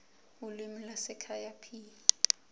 ulimi lwasekhaya p